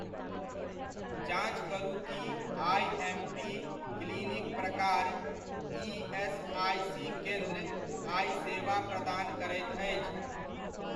जाँच करू की आइएमपी क्लिनिक प्रकार ईएसआइसी केन्द्र आइ सेवा प्रदान करैत अछि?